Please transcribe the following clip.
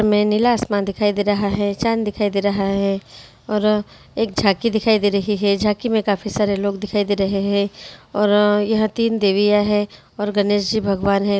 में नीला आसमान दिखाई दे रहा है चांद दिखाई दे रहा है और एक झांकी दिखाई दे रही है झांकी में काफी सारे लोग दिखाई दे रहे हैं और यह तीन देवियां है और गणेश जी भगवान है।